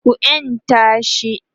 ku yanta shi!